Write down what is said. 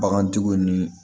Bagantigiw ni